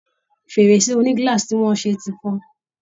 Fèrèsé oní glass tí wọ́n ṣe ti fọ́